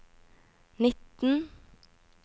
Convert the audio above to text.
nitten